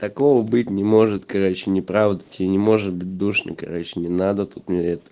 такого быть не может короче неправда тебе не может быть душно короче не надо тут мне это